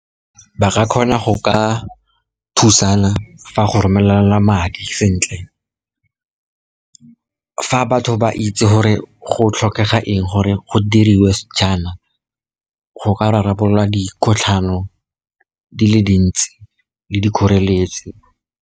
Ba ka kgona go ka thusana fa go romelelana madi sentle, fa batho ba itse gore go tlhokega eng gore go diriwe jaana, go ka rarabololwa dikgotlhano di le dintsi le dikgoreletsi.